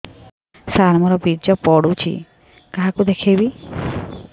ସାର ମୋର ବୀର୍ଯ୍ୟ ପଢ଼ୁଛି କାହାକୁ ଦେଖେଇବି